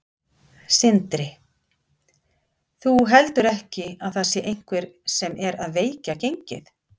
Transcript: Sindri: Þú heldur ekki að það sé einhver sem er að veikja gengið?